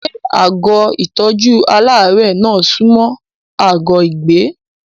Ṣé àgọ́ ìtọ́jú aláàárẹ̀ náà sunmọ́ àgọ́ ìgbé?